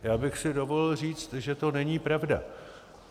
Já bych si dovolil říci, že to není pravda.